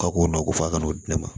Ka ko nɔ ko fo a kana n'o di ne ma